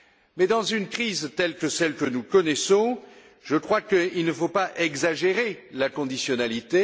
Mais dans une crise telle que celle que nous connaissons, je crois qu'il ne faut pas exagérer la conditionnalité.